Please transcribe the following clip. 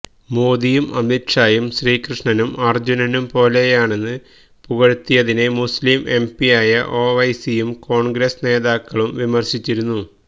മോദിയും അമിത് ഷായും ശ്രീകൃഷ്ണനും അർജുനനും പോലെയാണെന്ന് പുകഴ്ത്തിയതിനെ മുസ്ലിം എം പിയായ ഒവൈസിയും കോൺഗ്രസ്സ് നേതാക്കളും വിമർശിച്ചിരുന്നു